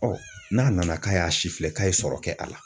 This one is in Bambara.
n'a nana k'a y'a si filɛ k'a ye sɔrɔ kɛ a la